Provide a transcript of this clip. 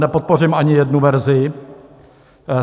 Nepodpořím ani jednu verzi.